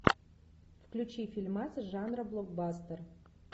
включи фильмас жанра блокбастер